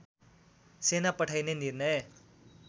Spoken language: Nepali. सेना पठाइने निर्णय